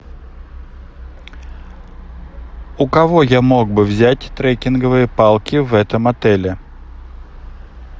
у кого я мог бы взять трекинговые палки в этом отеле